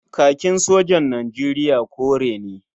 Kakin sojan Nijeriya kore ne.